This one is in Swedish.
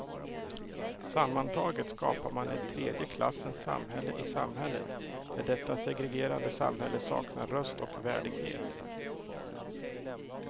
Sammantaget skapar man ett tredje klassens samhälle i samhället, där detta segregerade samhälle saknar röst och värdighet.